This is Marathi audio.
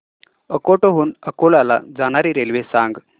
अकोट हून अकोला ला जाणारी रेल्वे सांग